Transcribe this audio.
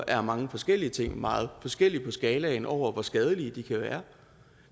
er mange forskellige ting meget forskelligt på skalaen over hvor skadelige de kan være